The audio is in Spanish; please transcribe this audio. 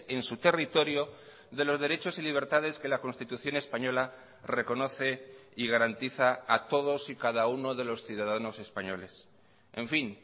en su territorio de los derechos y libertades que la constitución española reconoce y garantiza a todos y cada uno de los ciudadanos españoles en fin